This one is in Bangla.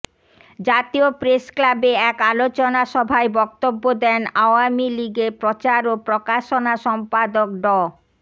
জাতীয় প্রেসক্লাবে এক আলোচনা সভায় বক্তব্য দেন আওয়ামী লীগের প্রচার ও প্রকাশনা সম্পাদক ড